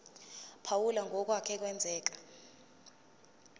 phawula ngokwake kwenzeka